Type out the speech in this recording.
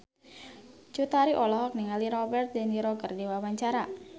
Cut Tari olohok ningali Robert de Niro keur diwawancara